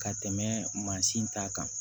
Ka tɛmɛ mansin ta kan